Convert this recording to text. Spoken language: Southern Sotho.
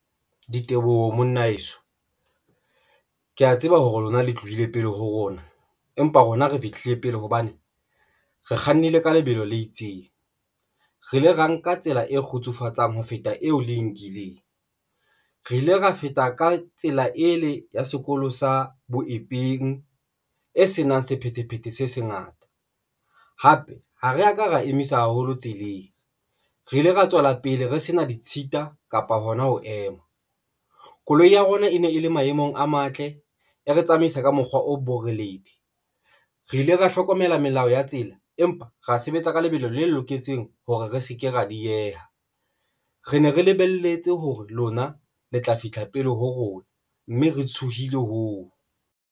Diteboho monna heso, ke ya tseba hore lona le tlohile pele ho rona, empa rona re fihlile pele hobane re kgannile ka lebelo le itseng re ile ra nka tsela e kgotsofatsang ho feta eo le e nkileng. Re ile ra feta ka tsela ele ya sekolo sa boeleng e senang sephethephethe se sengata. Hape ha re ka ra emisa haholo tseleng, re ile ra tswela pele re sena ditshita kapa hona ho ema koloi ya rona e ne e le maemong a matle, e re tsamaise ka mokgwa o boreledi, re ile ra hlokomela melao ya tsela, empa re sebetsa ka lebelo le loketseng hore re se ke ra dieha re ne re lebelletse hore lona le tla fihla pele ho rona, mme re tshohile hoo.